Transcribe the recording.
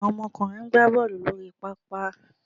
Àwọn ọkùnrin ń gbá Bọ́ọ̀lù lórí pápá